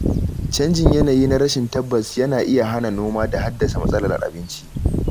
Canjin yanayi na rashin tabbas yana iya hana noma da haddasa matsalar abinci.